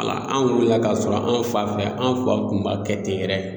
An wulila ka sɔrɔ an fa fɛ an fa kun b'a kɛ ten yɛrɛ